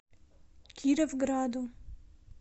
кировграду